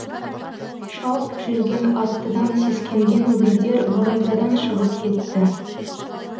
шауып жүрген аттыдан сескенген өгіздер бораздадан шығып кетті